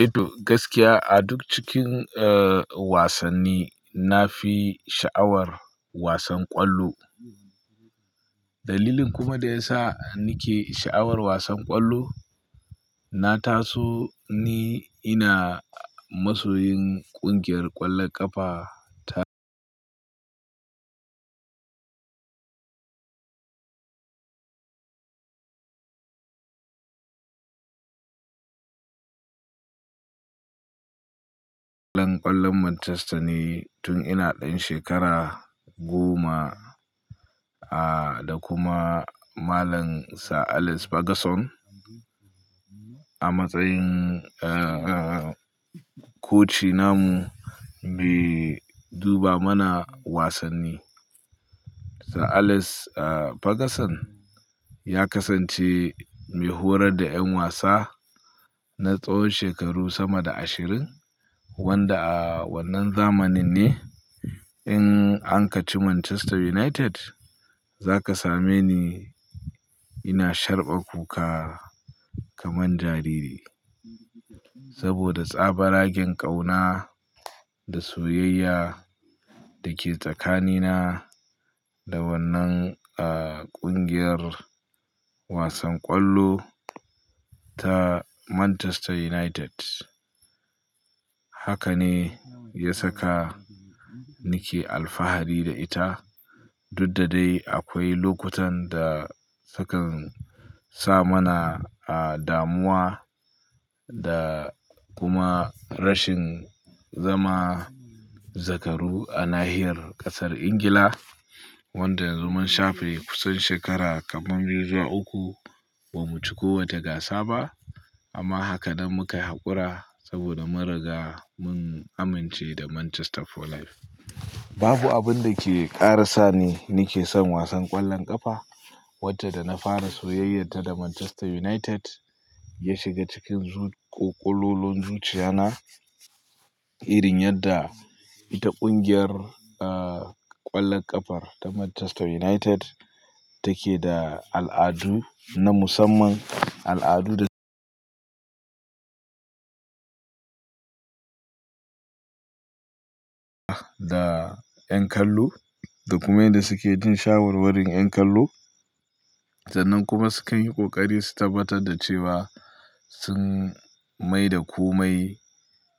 Eh to, gaskiya a duk cikin, eh, wasanni na fi sha'awar wasan kwallo. Dalilin kuma da ya sa nake sha'awar wasan kwallo, na taso ni ina masoyin ƙungiyar ƙwallon ƙafa ta ƙwallon Manchester ne tun ina ɗan shekara goma, a, da kuma malam Sir Alex Ferguson a matsayin, eh, koci namu mai duba mana wasanni. Sir Alex Ferguson ya kasance mai horar da 'yan wasa na tsawon shekaru sama da ashirin wanda a wannan zamanin ne in an ka ci Manchester United za ka same ni ina sharɓa kuka kamar jariri. Saboda tsaba ragen ƙauna da soyayya da ke tsakanina da wannan, a, ƙungiyar wasan kwallo ta Manchester United. Haka ne ya saka nake alfahari da ita, duk da dai akwai lokutan da sukan sa mana damuwa da kuma rashin zama zakaru a nahiyar ƙasar Ingila wanda yanzu mun shafe kusan shekara kaman biyu zuwa uku ba mu ci kowace gasa ba. Amma haka dai muka haƙura saboda mun riga mun amince da Manchester for life. Babu abin da ke ƙara sa ni nake son wasan ƙwallon ƙafa wanda da na fara soyayyarta da Manchester United ya shiga cikin ƙololon zuciya na irin yadda ita ƙungiyar, a, ƙwallon ƙafar ta Manchester United take da al'adu na musamman, al'adu da da 'yan kallo, da kuma yanda suke jin shawarwarin 'yan kallo sannan kuma sukan yi ƙoƙari su tabbatar da cewa sun mai da komai